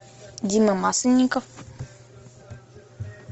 дима масленников